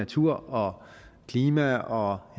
natur og klima og